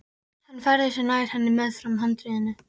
Hann færði sig nær henni meðfram handriðinu.